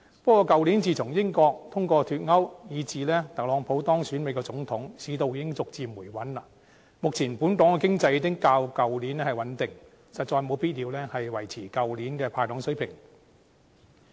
不過，去年自從英國通過脫歐，以至特朗普當選美國總統，市道已經逐漸回穩，目前本港經濟已經較去年穩定，實在無必要維持去年的"派糖"水平。